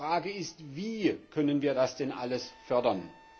Aber die Frage ist Wie können wir das denn alles fördern?